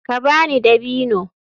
Ka ba ni dabino.